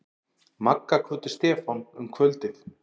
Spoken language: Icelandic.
Magga kvöddu Stefán um kvöldið.